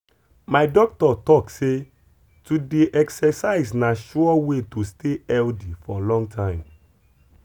my doctor talk say to dey exercise na sure way to stay healthy for long time.